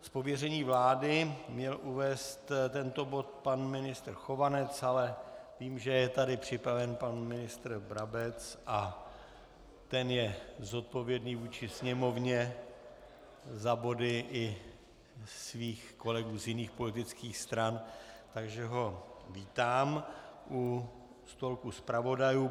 Z pověření vlády měl uvést tento bod pan ministr Chovanec, ale vidím, že je tady připraven pan ministr Brabec a ten je zodpovědný vůči Sněmovně za body i svých kolegů z jiných politických stran, takže ho vítám u stolku zpravodajů.